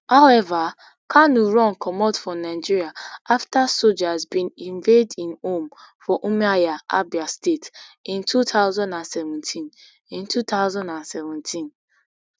however kanu run comot for nigeria afta soldiers bin invade im home for umuahia abia state in two thousand and seventeen in two thousand and seventeen